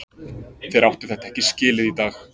Þeir áttu þetta ekki skilið í dag.